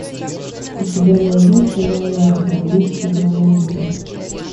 у тебя найдется леонардо миссия мона лиза